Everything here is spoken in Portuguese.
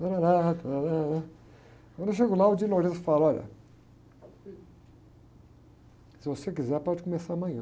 Tárárá, tárárá, quando eu chego lá, o fala, olha, se você quiser pode começar amanhã.